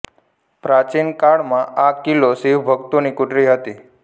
પ્રાચીન કાળમાં આ કિલ્લો શિવ ભક્તોની કુટિર હતી